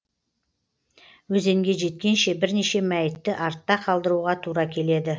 өзенге жеткенше бірнеше мәйітті артта қалдыруға тура келеді